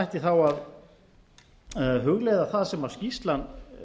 ætti þá að hugleiða það sem skýrslan